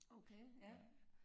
Okay ja